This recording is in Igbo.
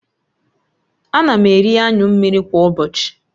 Ana m eri anyụ mmiri kwa ụbọchị